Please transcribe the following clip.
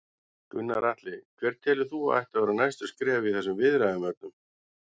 Gunnar Atli: Hver telur þú að ættu að vera næstu skref í þessum viðræðum öllum?